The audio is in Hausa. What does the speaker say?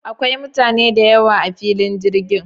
Akwai mutane da yawa a filin jirgin.